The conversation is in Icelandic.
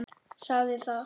Sagði það.